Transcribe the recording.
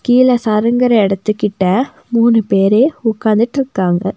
கீழ சருங்குற எடத்துக்கிட்ட மூணு பேரு உக்காந்துட்ருக்காங்க.